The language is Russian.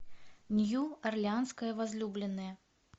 нью орлеанская возлюбленная